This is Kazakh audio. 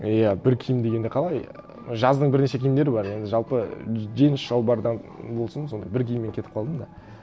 иә бір киім дегенде қалай жаздың бірнеше киімдері бар енді жалпы джинс шалбардан болсын сондай бір киіммен кетіп қалдым да